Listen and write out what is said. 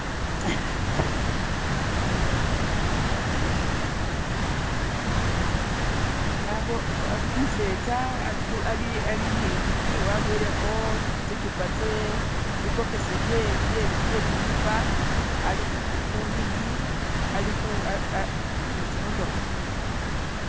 umusetsa alini ndigi waboyeleho tsichupa tsebibokisi bye tsichupa ali hundigi alihu nitsimotoha